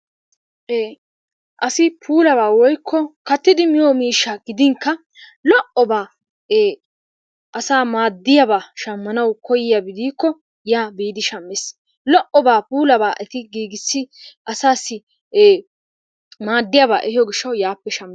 Ee asi puulabaa woyikko kattidi miyo miishshaa gidinkka lo'obaa asaa maaddiyabaa shammanawu koyyiyabi diikko yaa biidi shammes. Lo'obaa puulabaa eti giigissi asaassi maaddiyabaa ehiyoo gishshawu yaappe shammes.